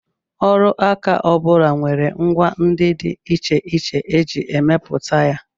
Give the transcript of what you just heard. Ọrụaka ọ bụla nwere ngwa ndị dị iche iche e ji emepụta ya